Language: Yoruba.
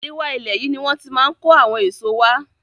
Àríwá ilẹ̀ yìí ni wón ti máa ń kó àwọn èso wá.